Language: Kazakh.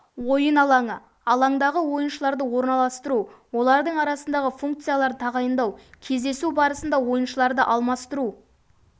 ойын алаңы алаңдағы ойыншыларды орналастыру олардың арасындағы функцияларды тағайындау кездесу барысында ойыншыларды алмастыру